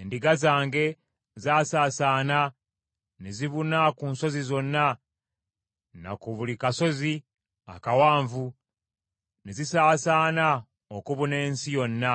Endiga zange zaasaasaana, ne zibuna ku nsozi zonna na ku buli kasozi akawanvu, ne zisaasaana okubuna ensi yonna,